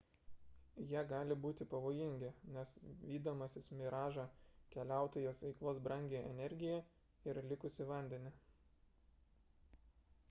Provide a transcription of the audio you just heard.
jie gali būti pavojingi nes vydamasis miražą keliautojas eikvos brangią energiją ir likusį vandenį